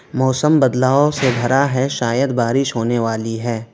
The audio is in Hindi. मौसम बदलाव से भरा है शायद बारिश होने वाली है।